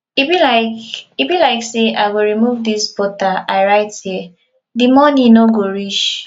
e be like e be like say i go remove dis butter i write here the money no go reach